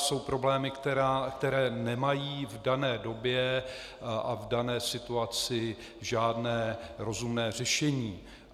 Jsou problémy, které nemají v dané době a v dané situaci žádné rozumné řešení.